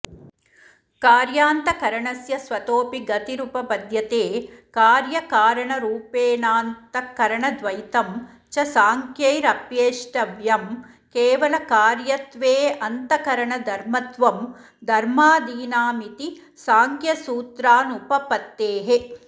कार्यान्तःकरणस्य स्वतोऽपि गतिरुपपद्यते कार्यकारणरूपेणान्तःकरणद्वैतं च सांख्यैरप्येष्टव्यम् केवलकार्यत्वेऽन्तःकरणधर्मत्वं धर्मादीनामिति सांख्यसूत्रानुपपत्तेः